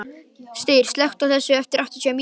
Styr, slökktu á þessu eftir áttatíu mínútur.